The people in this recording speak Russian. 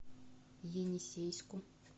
енисейску